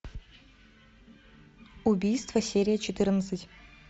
убийство серия четырнадцать